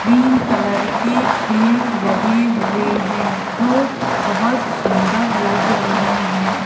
Green colour के पेड़ लगे हुए हैं जो बहुत सुंदर लग रहे हैं।